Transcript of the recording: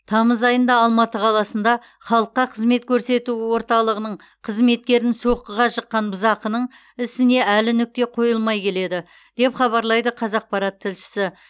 тамыз айында алматы қаласында халыққа қызмет көрсету орталығының қызметкерін соққыға жыққан бұзақының ісіне әлі нүкте қойылмай келеді деп хабарлайды қазақпарат тілшісі